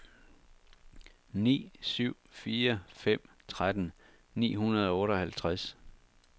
ni syv fire fem tretten ni hundrede og otteoghalvtreds